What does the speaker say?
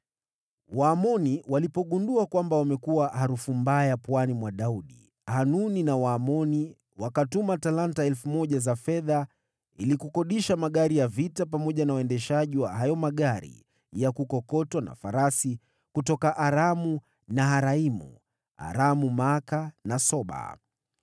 Waamoni walipotambua kuwa wamekuwa machukizo kwa Daudi, Hanuni na Waamoni wakatuma talanta 1,000 za fedha ili kukodisha magari ya vita pamoja na waendeshaji wa hayo magari ya kukokotwa na farasi, kutoka Aramu-Naharaimu, Aramu-Maaka na Soba.